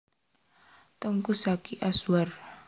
Teuku Zacky Azwar